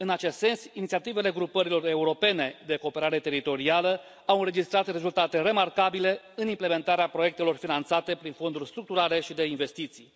În acest sens, inițiativele grupărilor europene de cooperare teritorială au înregistrat rezultate remarcabile în implementarea proiectelor finanțate prin fonduri structurale și de investiții.